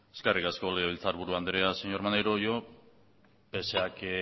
eskerrik asko legebiltzar buru andrea señor maneiro yo pese a que